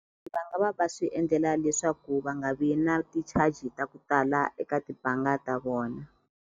Va nga va va swi endlela leswaku va nga vi na ti-charge ta ku tala eka tibanga ta vona.